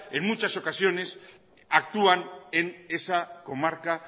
en muchas ocasiones actúan en esa comarca